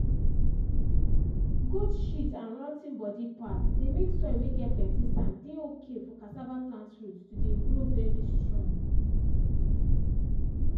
goat shit and rot ten body part dey make soil whey get plenty sand dey okay for cassava plant root to dey grow very strong